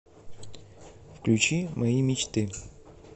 включи мои мечты